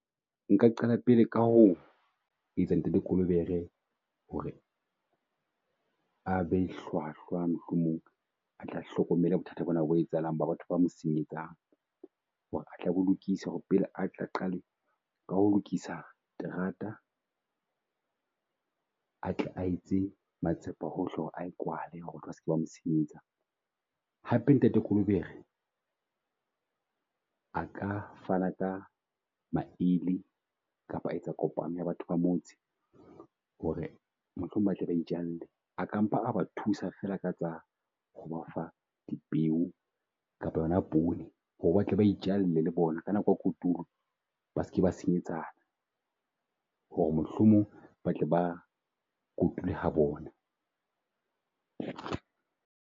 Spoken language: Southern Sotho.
Nka qala pele ka ho etsa ntate Kolobere hore a be hlwahlwa mohlomong a tla hlokomela bothata bona bo etsahalang ba batho ba senyetsang hore ho lokisa hore a qale ka ho lokisa terata. A tle a etse matsapa hohle hore ae kwale hore tle ba seke ba mosenyetsa. Hapetate Kolobere a ka fana ka male kapa a etsa kopano ya batho ba motse. Hore mohlomong ba tle ba itjalle a ka mpa a ba thusa feela ka tsa ho ba fa di peo kapa yona poone hore batle ba itjalle le bona. Ka nako ya kotulo ba seke ba senyetsa hore mohlomong ba tle bakotule ha bona.